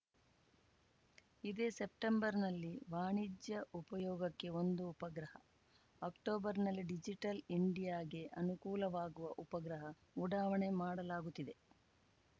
ಇದೇ ಸೆಪ್ಟೆಂಬರ್‌ನಲ್ಲಿ ವಾಣಿಜ್ಯ ಉಪಯೋಗಕ್ಕೆ ಒಂದು ಉಪಗ್ರಹ ಅಕ್ಟೋಬರ್‌ನಲ್ಲಿ ಡಿಜಿಟಲ್‌ ಇಂಡಿಯಾಗೆ ಅನುಕೂಲವಾಗುವ ಉಪಗ್ರಹ ಉಡಾವಣೆ ಮಾಡಲಾಗುತ್ತಿದೆ